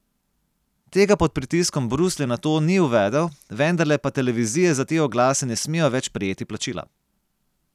Tega pod pritiskom Bruslja nato ni uvedel, vendarle pa televizije za te oglase ne smejo več prejeti plačila.